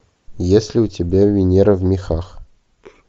есть ли у тебя венера в мехах